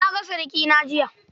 Na ga surikina jiya.